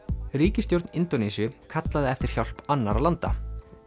ríkisstjórn Indónesíu kallaði eftir hjálp annarra landa